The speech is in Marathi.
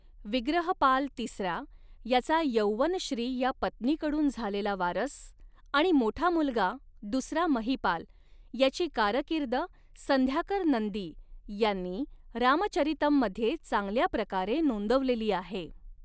विग्रहपाल तिसरा याचा यौवनश्री या पत्नीकडून झालेला वारस आणि मोठा मुलगा दुसरा महिपाल याची कारकीर्द संध्याकर नंदी यांनी रामचरितम मध्ये चांगल्या प्रकारे नोंदवलेली आहे.